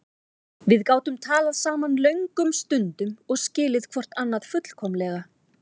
Við gátum talað saman löngum stundum og skilið hvort annað fullkomlega.